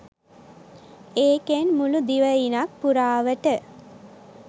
ඒකෙන් මුලු දිවයිනක් පුරාවට